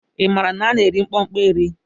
I maara na a na-eri mkpụkpọ eri?